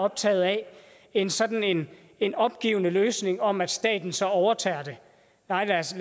optaget af end sådan en opgivende løsning om at staten så overtager det nej lad os